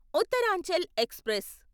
Uttaranchal express